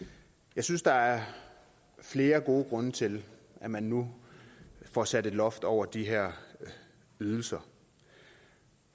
jeg synes der er flere gode grunde til at man nu får sat et loft over de her ydelser